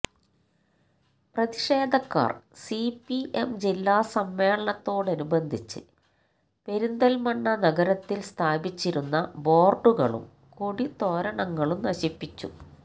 പ്രതിഷേധക്കാർ C P M ജില്ലാ സമ്മേളനത്തോടനുബന്ധിച്ച് പെരിന്തൽമണ്ണ നഗരത്തിൽ സ്ഥാപിച്ചിരുന്ന ബോർഡുകളും കൊടിത്തോരണങ്ങളും നശിപ്പിച്ചു